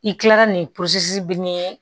I kilala nin posi biri ye